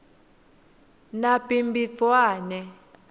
nabhimbidvwane